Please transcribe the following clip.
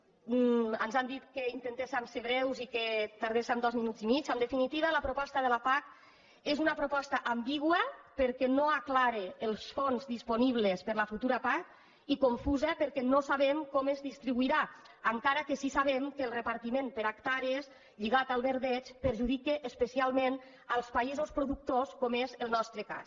ens han dit que intentéssim ser breus i que tardéssim dos minuts i mig en definitiva la proposta de la pac és una proposta ambigua perquè no aclareix els fons disponibles per a la futura pac i confusa perquè no sabem com es distribuirà encara que sí que sabem que el repartiment per hectàrees lligat al verdeig perjudica especialment els països productors com és el nostre cas